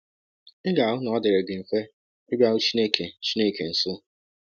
Ị ga-ahụ na ọ dịrị gị mfe ịbịaru Chineke Chineke nso.